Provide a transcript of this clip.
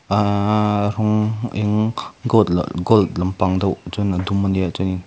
uuhhh rawng eng gold lampang deuh chuan a dum ania chuani--